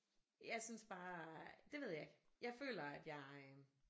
Jeg synes bare det ved jeg ikke jeg føler at jeg øh